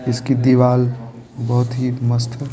इसकी दीवाल बोहोत ही मस्त है।